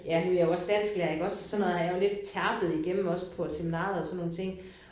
Ja nu er jeg jo også dansklærer iggås så sådan noget har jeg lidt terpet igennem også på seminariet og sådan nogle ting